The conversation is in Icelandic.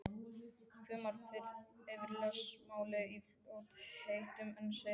Hvimar yfir lesmálið í fljótheitum en segir síðan